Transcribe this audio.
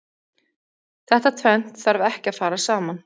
Þetta tvennt þarf ekki að fara saman.